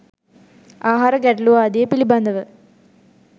ආහාර ගැටළු ආදිය පිළිබඳව